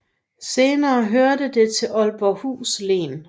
Senere hørte det til Aalborghus Len